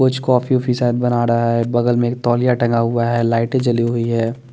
कुछ कॉफ़ी होपी शयद बना रहा है बगल में एक तोलिया टंगा हुआ है लाइटे जली हुई है ।